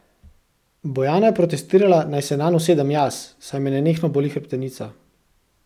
Bojana je protestirala, naj se nanj usedem jaz, saj me nenehno boli hrbtenica.